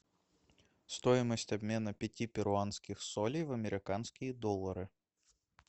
стоимость обмена пяти перуанских солей в американские доллары